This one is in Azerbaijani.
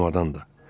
Çamadan da.